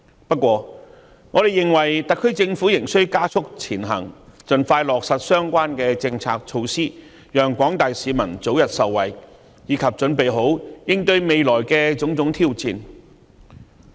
不過，我們認為特區政府仍須加速前行，盡快落實相關政策措施，讓廣大市民早日受惠，以及為應對未來的種種挑戰做好準備。